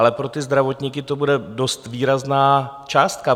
Ale pro ty zdravotníky to bude dost výrazná částka.